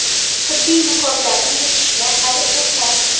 Tibbiy niqoblarni yechishga hali erta.